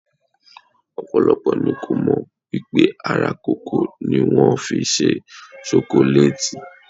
Ọ̀pọ̀lọpọ̀ ni kò mọ̀ wípé ara kòkó ni wón fi ṣe ṣokolátì.